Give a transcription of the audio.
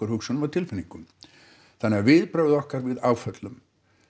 hugsunum og tilfinningum þannig að viðbrögð okkar við áföllum